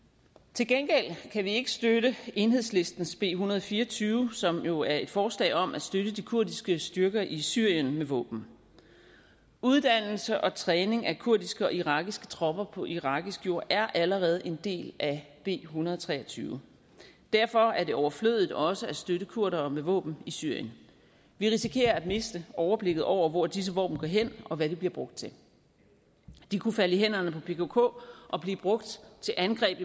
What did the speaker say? til gengæld kan vi ikke støtte enhedslistens b en hundrede og fire og tyve som jo er et forslag om at støtte de kurdiske styrker i syrien med våben uddannelse og træning af kurdiske og irakiske tropper på irakisk jord er allerede en del af en hundrede og tre og tyve derfor er det overflødigt også at støtte kurdere med våben i syrien vi risikerer at miste overblikket over hvor disse våben går hen og hvad de bliver brugt til de kunne falde i hænderne på pkk og blive brugt til angreb